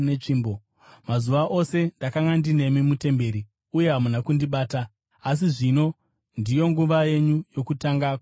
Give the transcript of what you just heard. Mazuva ose ndakanga ndinemi mutemberi, uye hamuna kundibata. Asi ino ndiyo nguva yenyu, yokutonga kwerima.”